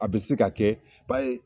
A bɛ se ka kɛ i b'a ye.